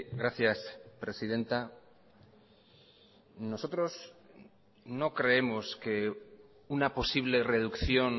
gracias presidenta nosotros no creemos que una posible reducción